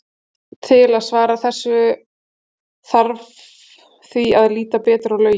Til að svara þessu þarf því að líta betur á lögin.